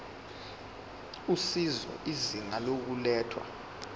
usizo izinga lokulethwa